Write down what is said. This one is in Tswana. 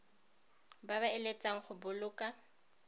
ba ba eletsang go boloka